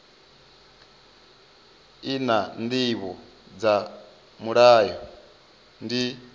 naa ndivho dza mulayo ndi